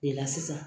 I la sisan